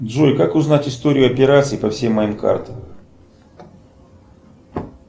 джой как узнать историю операций по всем моим картам